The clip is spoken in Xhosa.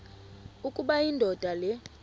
ukuba indoda le